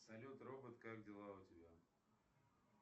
салют робот как дела у тебя